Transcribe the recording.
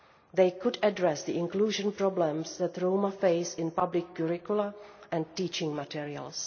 They could address the inclusion problems that Roma face in public curricula and teaching materials.